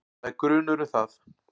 Það er grunur um það.